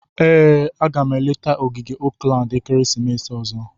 Ee, a ga m eleta ogige Oakland ekeresimesi ọzọ.